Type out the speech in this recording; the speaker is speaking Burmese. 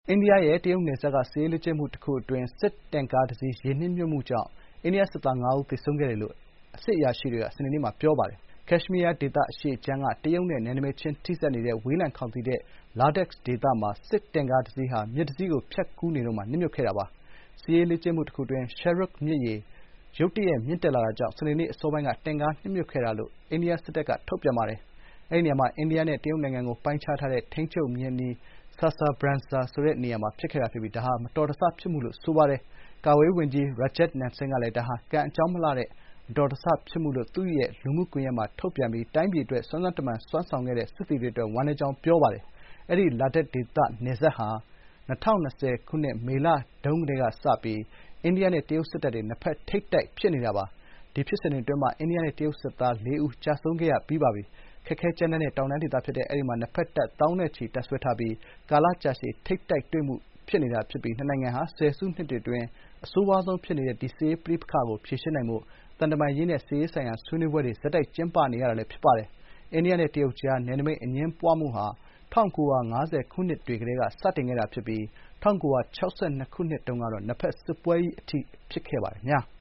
အိန္ဒိယရဲ့ တရုတ်နယ်စပ်က စစ်ရေးလေ့ကျင့်မှု တခု အတွင်း တင့်ကားတစီး ရေနစ်မြုပ်မှုကြောင့် အိန္ဒိယစစ်သား ၅ ဦး သေဆုံးခဲ့တယ်လို့ အရာရှိတွေက စနေနေ့မှာ ပြောပါတယ်။ ကက်ရှ်မီးယား ဒေသအရှေ့ခြမ်းက တရုတ်နဲ့ နယ်နိမိတ်ချင်းထိစပ်နေတဲ့ ဝေးလံခေါင်သီတဲ့ လာဒက် Ladakh ဒေသမှာ စစ်တင့်ကားတစီးဟာ မြစ်တစီးကိုဖြတ်ကူးနေတုန်းမှာ နစ်မြုပ်သွားခဲ့တာပါ။ စစ်ရေးလေ့ကျင့်မှုတခုအတွင်း Shyok မြစ်ရေ ရုတ်တရက်မြင့်တက်လာမှုကြောင့် စနေနေ့အစောပိုင်းတွင် တင့်ကားနစ်မြုပ်ခဲ့ကြောင်း အိန္ဒိယစစ်တပ်ကွပ်ကဲမှုဌာနမှ ထုတ်ပြန်ချက်အရ သိရပါတယ်။ အဲဒီနေရာမှာ အိန္ဒိယနဲ့ တရုတ်နိုင်ငံကို ပိုင်းခြားထားတဲ့ ထိန်းချုပ်မျဉ်းအနီး Saser Brangsa မှာ ဖြစ်ခဲ့တာ ဖြစ်ပြီး မတော်တဆမှုဖြစ်မှုလို့ ဆိုပါတယ်။ ကာကွယ်ရေးဝန်ကြီး Rajnath Singh ကလည်း ဒါဟာ ကံအကြောင်းမလှလို့ ဖြစ်တဲ့ မတော်တဆ ဖြစ်မှုလို့ သူ့ရဲ့ လူမှုကွန်ရက် X မှာ ထုတ်ပြန်ပြီး တိုင်းပြည်အတွက် စွမ်းစွမ်းတမံ စွမ်းဆောင်ခဲ့တဲ့ စစ်သည်တွေအတွက် ဝမ်းနည်းကြောင်း ပြောပါတယ်။ အဲဒီ လာဒက် ဒေသ နယ်စပ်ဟာ ၂၀၂၀ ခုနှစ် မေလတုန်းကတည်းကစပြီး အိန္ဒိယနဲ့ တရုတ်စစ်တပ်တွေ နှစ်ဖက် ထိပ်တိုက် ဖြစ်နေတာပါ။ ဒီဖြစ်စဥ်တွေ အတွင်းမှာ အိန္ဒိယနဲ့ တရုတ်စစ်သား လေးဦး ကျဆုံးခဲ့ရပါတယ်။ ခက်ခဲကြမ်းတမ်းတဲ့ တောင်တန်းဒေသဖြစ်တဲ့ အဲဒီမှာ နှစ်ဖက်တပ် သောင်းနဲ့ ချီ တပ်စွဲထားပြီး ကာလကြာရှည် ထိပ်တိုက်တွေ့မှု ဖြစ်နေပြီး နှစ်နိုင်ငံဟာ ဆယ်စုနှစ်တွေအတွင်း အဆိုးရွားဆုံး ဖြစ်နေတဲ့ စစ်ရေးပဋိပက္ခကို ဖြေရှင်းနိုင်ဖို့ သံတမန်ရေးရာနဲ့ စစ်ရေးဆိုင်ရာ ဆွေးနွေးပွဲတွေ ဆက်တိုက်ကျင်းပနေရချိန်လည်း ဖြစ်ပါတယ်။ အိန္ဒိယနဲ့ တရုတ်ကြား နယ်နိမိတ်အငြင်းပွားမှုဟာ ၁၉၅၀ ခုနှစ်တွေကတည်းက စတင်ခဲ့တာဖြစ်ပြီး ၁၉၆၂ ခုနှစ်တုန်းက နှစ်ဘက် စစ်ပွဲကြီး အထိ ဖြစ်ပွားခဲ့ပါတယ်။